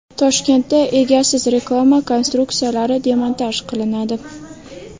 Toshkentda egasiz reklama konstruksiyalari demontaj qilinadi.